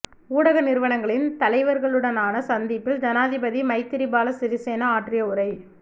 ஊடக நிறுவனங்களின் தலைவர்களுடனான சந்திப்பில் ஜனாதிபதி மைத்ரிபால சிறிசேன ஆற்றிய உரை